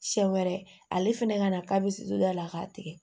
Siɲɛ wɛrɛ ale fɛnɛ ka na k'a bɛ se don da la k'a tigɛ